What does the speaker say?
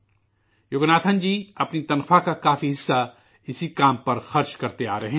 یوگناتھن جی اپنے تنخواہ کا کافی حصہ اسی کام میں خرچ کرتے آ رہے ہیں